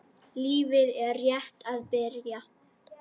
Lífið er rétt að byrja.